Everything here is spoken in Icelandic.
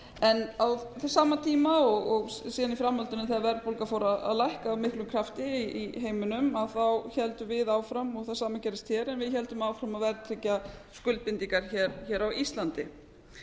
en á sama tíma og síðan í framhaldinu þegar verðbólga fór að lækka af miklum krafti í heiminum þá héldum við áfram og það sama gerðist hér en við héldum áfram að verðtryggja skuldbindingar hér á íslandi